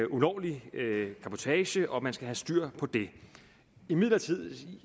ulovlig cabotage og at man skal have styr på det imidlertid